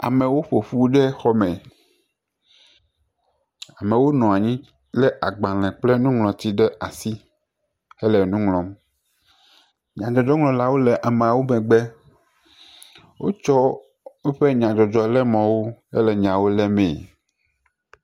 Amewo ƒo ƒu ɖe xɔme. Amewo nɔ anyi lé agbalẽ kple nuŋlɔti ɖe asi hele nu ŋlɔm. Nyadzɔdzɔŋlɔlawo le ameawo megbe wotsɔ woƒe nyadzɔdzɔlémɔwo hele nyawo lémee